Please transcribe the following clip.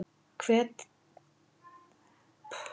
Hvert þeirra myndir þú velja að slá ef þú mættir velja?